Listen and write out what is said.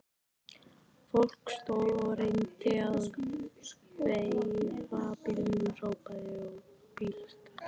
Fólk stóð og reyndi að veifa bílum, hrópaði og blístraði.